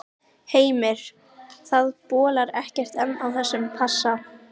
Heimir, það bólar ekkert enn á þessum passa?